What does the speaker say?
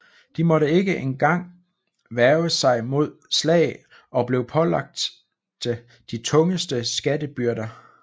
De måtte ikke en gang værge sig mod slag og blev pålagte de tungeste skattebyrder